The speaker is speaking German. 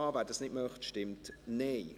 wer das nicht möchte, stimmt Nein.